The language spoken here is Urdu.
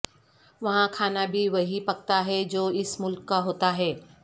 وہاں کھانا بھی وہی پکتا ہے جو اس ملک کا ہوتا ہے